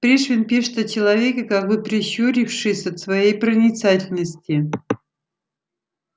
пришвин пишет о человеке как бы прищурившись от своей проницательности